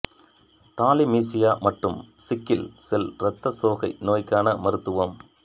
thalassaemia மற்றும் sickle cell இரத்த சோகை நோய்க்கான மருத்துவம்